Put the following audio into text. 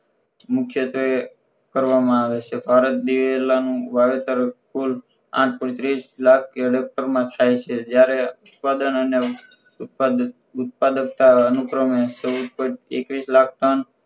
મુખ્યત્વે કરવામાં આવે છે ભારત દિવેલાનું વાવેતર કુલ આઠ point ત્રીસ લાખ માં થાય છે જ્યારે ઉત્પાદન અને ઉત્પાદક ઉત્પાદકતા અનુક્રમે ચૌદ point એકવીસ લાખ ટન